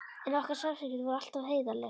En okkar samskipti voru alltaf heiðarleg.